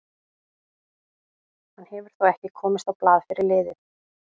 Hann hefur þó ekki komist á blað fyrir liðið.